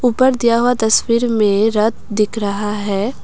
ऊपर दिया हुआ तस्वीर में रथ दिख रहा है।